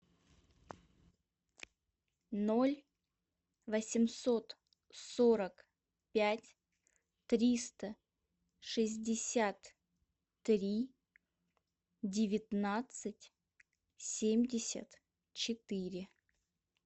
ноль восемьсот сорок пять триста шестьдесят три девятнадцать семьдесят четыре